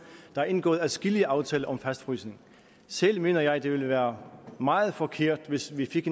der er indgået adskillige aftaler om fastfrysning selv mener jeg at det ville være meget forkert hvis vi fik